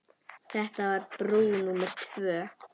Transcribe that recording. Þetta var brú númer tvö.